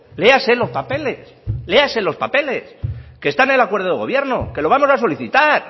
léase los papeles léase los papeles que está en el acuerdo de gobierno que lo vamos a solicitar